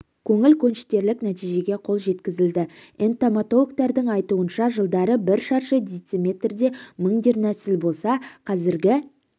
көңіл көншітерлік нәтижеге қол жеткізілді энтамологтардың айтуынша жылдары бір шаршы дециметрде мың дернәсіл болса қазіргі